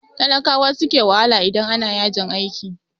Talakawa suke wahala idan ana yajin aiki.